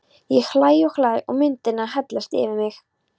Ég hlæ og hlæ og myndirnar hellast yfir mig.